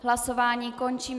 Hlasování končím.